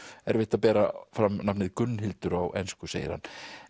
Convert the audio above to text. erfitt að bera fram nafnið Gunnhildur á ensku segir hann